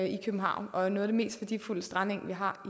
i københavn og er noget af det mest værdifulde strandeng vi har